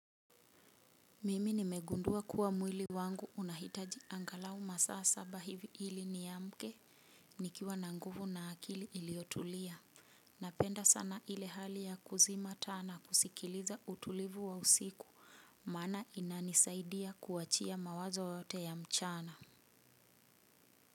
Mimi nimegundua kuwa mwili wangu unahitaji angalau masaa saba hivi hili niamke nikiwa na nguvu na akili iliyotulia. Napenda sana ile hali ya kuzima taa nakusikiliza utulivu wa usiku mana inanisaidia kuachia mawazo yote ya mchana.